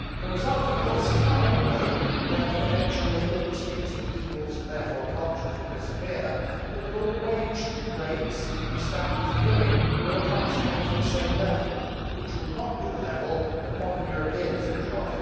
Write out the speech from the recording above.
The result of this is not only that eventually all distinctive peoples and therefore cultures will disappear, but that all wage rates and standards of living will approximate to the same level which would not be the level that modern Europeans enjoy.